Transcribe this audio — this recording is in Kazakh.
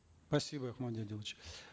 спасибо мади адилович